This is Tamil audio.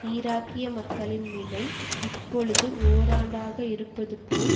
ஈராக்கிய மக்களின் நிலை இப்பொழுது ஓராண்டாக இருப்பது போல்